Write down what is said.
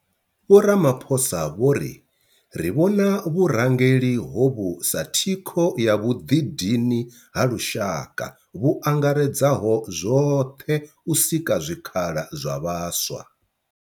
Vho Ramaphosa vho ri, Ri vhona vhurangeli hovhu sa thikho ya vhuḓidini ha lushaka vhu angaredzaho zwoṱhe u sika zwikhala zwa vhaswa".